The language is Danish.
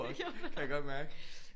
Også kan jeg godt mærke